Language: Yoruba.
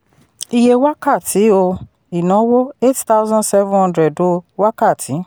iye wákàtí um ìnáwó: eight thousand seven hundred um wákàtí.